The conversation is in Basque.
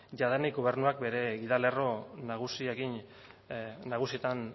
jadanik gobernuak bere gidalerro nagusitan